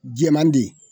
Jɛman de ye